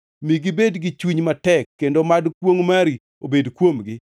Mi gibed gi chuny matek kendo mad kwongʼ mari obed kuomgi.